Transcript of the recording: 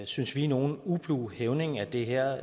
synes vi nogen ublu hævning af det her